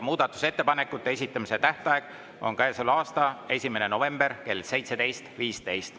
Muudatusettepanekute esitamise tähtaeg on käesoleva aasta 1. november kell 17.15.